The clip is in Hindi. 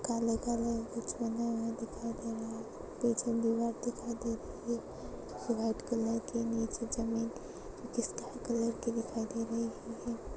काले-काले कुछ बना हुआ दिखाई दे रहा है पीछे दीवार दिखाई दे रही है व्हाइट कलर की नीचे जमीन जिसका कलर ग्रे दिखाई दे रही--